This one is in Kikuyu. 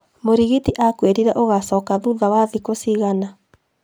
Mũrigiti akwĩrire ũgacoka thutha wa thiku cigana